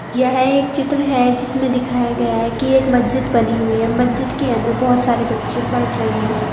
यह एक चित्र है जिसमें दिखाया गया है कि एक मस्जिद बनी हुई है मस्जिद के अंदर बहोत सारे बच्चे पढ़ रहे है।